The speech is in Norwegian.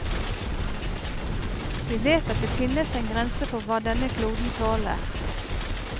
Vi vet at det finnes en grense for hva denne kloden tåler.